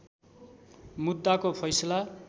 मुद्दाको फैसला